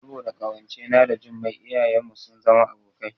Saboda ƙawance na da Jummai iyayen ma sun zama abokai